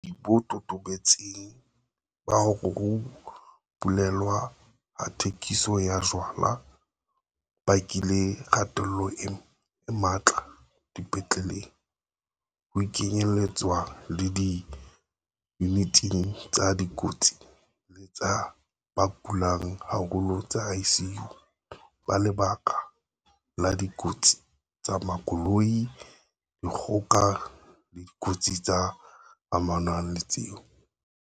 Jwale ho na le bopaki bo totobetseng ba hore ho bulelwa ha thekiso ya jwala ho bakile kgatello e matla dipetleleng, ho kenyeletswa le diyuniting tsa dikotsi le tsa ba kulang haholo tsa ICU, ka lebaka la dikotsi tsa makoloi, dikgoka le dikotsi tse amanang le tseo.